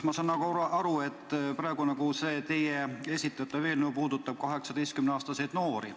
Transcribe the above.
Ma saan aru, et see praegune, teie esitatud eelnõu puudutab 18-aastaseid noori.